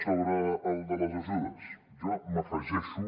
sobre el de les ajudes jo m’hi afegeixo